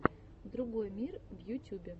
другой мир в ютюбе